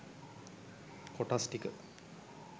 කොටස් ටික